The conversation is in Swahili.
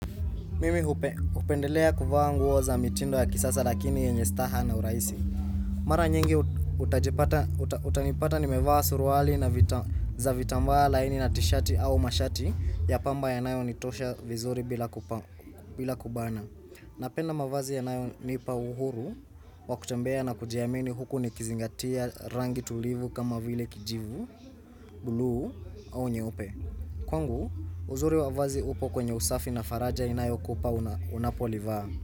Mimi hupe hupendelea kuvaa nguo za mitindo ya kisasa lakini yenye staha na urahisi. Mara nyingi utanipata nimevaa suruali za vitambaa laini na tishati au mashati ya pamba yanayo nitosha vizuri bila kubana. Napenda mavazi yanayo nipa uhuru wa kutembea na kujiamini huku nikizingatia rangi tulivu kama vile kijivu, buluu au nyeupe. Kwangu, uzuri wa vazi upo kwenye usafi na faraja inayo kupa unapolivaa.